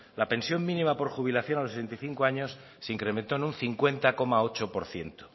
la pensión mínima por jubilación a los sesenta y cinco años se incrementó en un cincuenta coma ocho por ciento